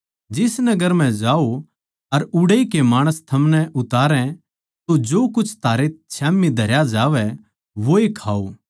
जिस नगर मै जाओ अर उड़ै के माणस थमनै उतारै तो जो कुछ थारै स्याम्ही धरया जावै वोए खाओ